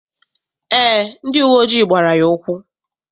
Eé, ndị uwe ojii gbara ya ụkwụ.